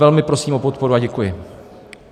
Velmi prosím o podporu a děkuji.